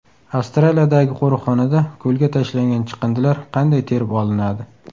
Avstraliyadagi qo‘riqxonada ko‘lga tashlangan chiqindilar qanday terib olinadi?